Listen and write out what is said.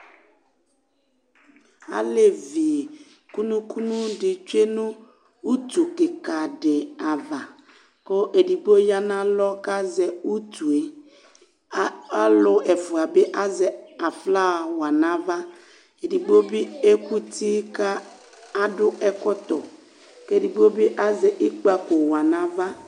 alɛvi kʋnʋ kʋnʋ di twɛnʋ ʋtʋ kikaa di aɣa kʋ ɛdigbɔ yanʋ alɔ kʋ azɛ ʋtʋɛ ,alʋ ɛƒʋa bi azɛ aflawa haƒa nʋ aɣa, ɛdigbɔ biɛkʋti kʋ adʋ ɛkɔtɔ kʋ ɛdigbɔ bi azɛ ikpakɔ wanʋ aɣa